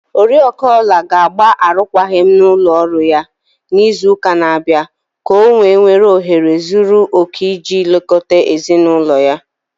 Oriakụ Ola ga-agba arụkwaghịm na ụlọ ọrụ ya n'izu ụka na-abịa ka o wee nwee ohere zuru okè iji lekọta ezi n'ụlọ ya.